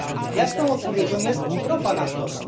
Jasną odpowiedzią jest ropa naftowa.